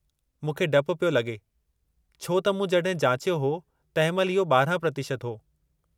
मूंखे डपु पियो लॻे छो त मूं जॾहिं जाचियो हो तंहिं महिल इहो 12% हो।